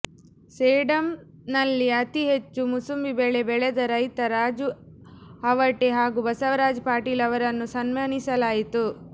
ಸೇಡಂನಲ್ಲಿ ಅತಿ ಹೆಚ್ಚು ಮೂಸಂಬಿ ಬೆಳೆ ಬೆಳೆದ ರೈತ ರಾಜು ಅವಟೆ ಹಾಗೂ ಬಸವರಾಜ ಪಾಟೀಲ್ ಅವರನ್ನು ಸನ್ಮಾನಿಸಲಾಯಿತು